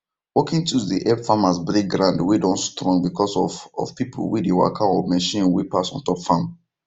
working tools dey help farmers break ground wey don strong because of of pipu wey dey waka or machine wey pass on top farm